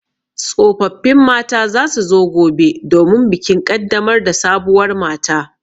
Tsofaffin mata za su zo gobe domin bikin ƙaddamar da sabuwar mata.